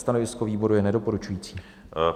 Stanovisko výboru je nedoporučující.